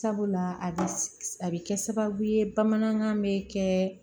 Sabula a bɛ a bɛ kɛ sababu ye bamanankan bɛ kɛ